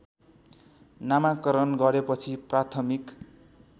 नामाकरण गरेपछि प्राथमिक